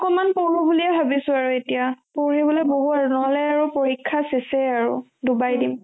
অকমান পঢ়ো বুলি ভাবিছো আৰু এতিয়া পঢ়িবলৈ বহু আৰু নহ'লে আৰু পৰীক্ষা চেচ আৰু দুবাৰ দিম